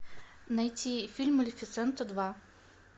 найти фильм малефисента два